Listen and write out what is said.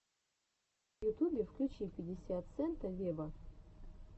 в ютубе включи пятьдесят сента вево